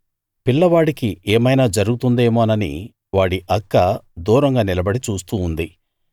పిల్లవాడికి ఏమైనా జరుగుతుందేమోనని వాడి అక్క దూరంగా నిలబడి చూస్తూ ఉంది